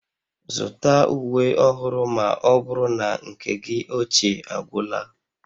Zụta uwe ọhụrụ ma ọ bụrụ na nke gị ochie agwụla